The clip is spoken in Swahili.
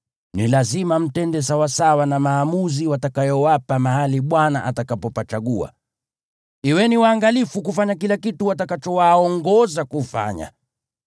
Ni lazima mtende sawasawa na maamuzi watakayowapa mahali Bwana atakapopachagua. Kuweni waangalifu kufanya kila kitu watakachowaongoza kufanya.